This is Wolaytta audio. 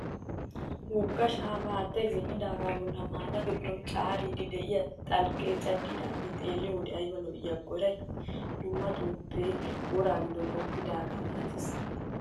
Wogga shaapaa haattayi zin'idaagaa bolla mallado biron caariddi diyaa xalqqeecaddidaage xeelliyoo wode ayiba lo'iyaakko erayi! Dumma xomppee woraa giddon xoppettidaaga malates.